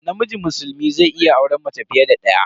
Namiji musulmi zai iya auren mace fiye da daya.